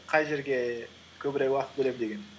қай жерге көбірек уақыт бөлемін деген